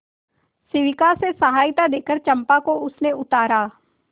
शिविका से सहायता देकर चंपा को उसने उतारा